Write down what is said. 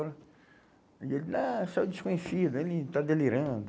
E ele, ah, você é o desconhecido, ele está delirando.